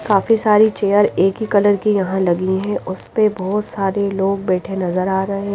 काफी सारी चेयर एक ही कलर की यहां लगी है उसपे बहोत सारे लोग बैठे नजर आ रहे--